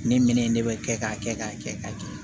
Ne mele in ne bɛ kɛ k'a kɛ k'a kɛ k'a kɛ